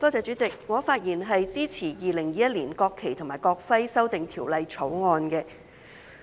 代理主席，我發言支持《2021年國旗及國徽條例草案》。